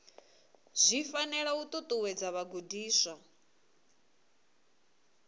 zwi fanela u ṱuṱuwedza vhagudiswa